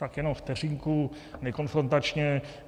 Tak jenom vteřinku, nekonfrontačně.